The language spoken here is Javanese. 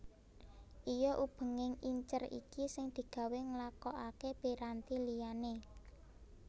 Iya ubenging incer iki sing digawé nglakokaké piranti liyané